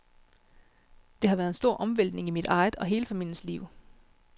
Det har været en stor omvæltning i mit eget og hele familiens liv.